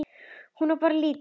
Ég á bara lítið.